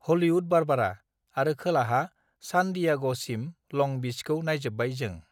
Hollywood Barbara आरो खोलाहा सान दियाग सिम लं बीसखौ नाइजोबबाय जों